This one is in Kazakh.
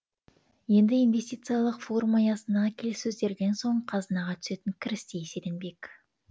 енді инвестициялық форум аясындағы келіссөздерден соң қазынаға түсетін кіріс те еселенбек